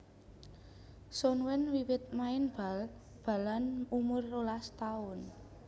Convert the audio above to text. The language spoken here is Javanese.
Sun Wen wiwit main bal balan umur rolas taun